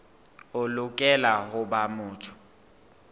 o lokela ho ba motho